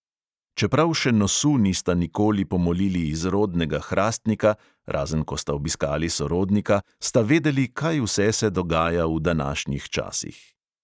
Čeprav še nosu nista nikoli pomolili iz rodnega hrastnika, razen ko sta obiskali sorodnika, sta vedeli, kaj vse se dogaja v današnjih časih.